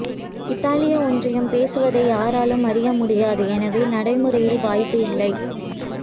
இத்தாலிய ஒன்றியம் பேசுவதை யாராலும் அறிய முடியாது எனவே நடைமுறையில் வாய்ப்பு இல்லை